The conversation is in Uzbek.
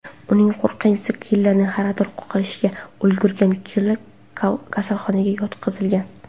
Uning qo‘riqchisi killerni yarador qilishga ulgurgan, killer kasalxonaga yotqizilgan.